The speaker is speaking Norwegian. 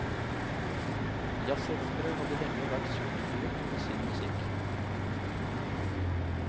Jazzelskere hadde lenge vært sulteforet på sin musikk.